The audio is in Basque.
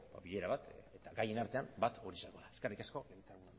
bilera bat eta gaien artean bat hori izango da eskerrik asko